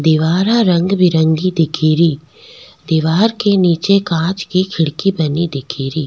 दीवारां रंग बिरंगी दिखेरी दिवार के नीचे कांच की खिड़की बनी दिखेरी।